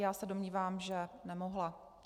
Já se domnívám, že nemohla.